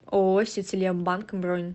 ооо сетелем банк бронь